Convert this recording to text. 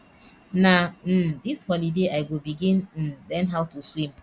na um dis holiday i go begin um learn how to swim